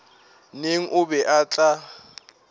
neng o be o tla